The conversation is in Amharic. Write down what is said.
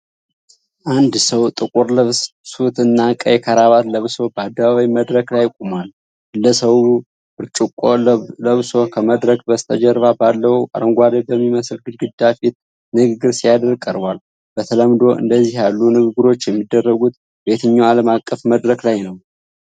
ንድ ሰው ጥቁር ልብስ (ሱት) እና ቀይ ክራባት ለብሶ በአደባባይ መድረክ ላይ ቆሟል። ግለሰቡ ብርጭቆ ለብሶ ከመድረክ በስተጀርባ ባለው አረንጓዴ በሚመስል ግድግዳ ፊት ንግግር ሲያደርግ ቀርቧል። በተለምዶ እንደዚህ ያሉ ንግግሮች የሚደረጉት በየትኛው ዓለም አቀፍ መድረክ ላይነው?